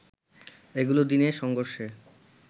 এগুলো দিনে সংঘর্ষে